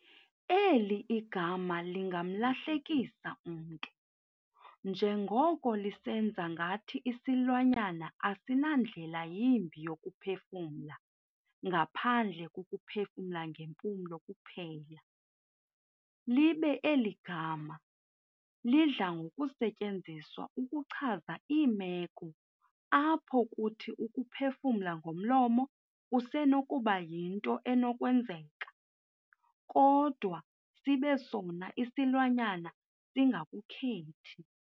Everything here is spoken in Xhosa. Eli gama lingamlahlekisa umntu, njengoko lisenza ngathi isilwanyana asina ndlela yimbi yokuphefumla ngaphandle kokuphefumla ngeempumlo kuphela, libe eli gama, lidla ngokusetyenziswa ukuchaza iimeko apho kuthi ukuphefumla ngomlomo kusenokuba yinto enokwenzeka, kodwa sibe sona isilwanyana singakukhethi.